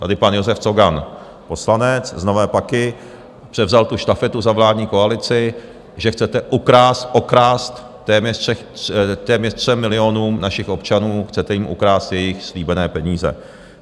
Tady pan Josef Cogan, poslanec z Nové Paky, převzal tu štafetu za vládní koalici, že chcete ukrást téměř 3 milionům našich občanů, chcete jim ukrást jejich slíbené peníze.